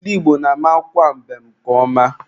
Ndị Igbo na-amakwa mbem nke ọma.